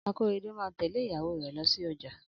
Akorede máa tẹ̀lẹ́ ìyàwó rè lọ sí ojà